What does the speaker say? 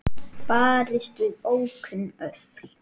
Barist við ókunn öfl